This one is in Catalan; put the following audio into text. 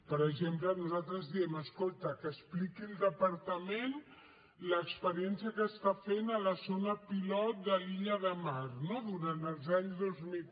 per exemple nosaltres diem escolta que expliqui el departament l’experiència que està fent a la zona pilot de l’illa de mar no durant els anys dos mil